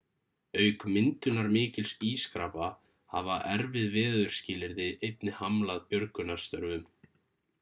auk myndunar mikils ískrapa hafa erfið veðurskilyrði einnig hamlað björgunarstörfum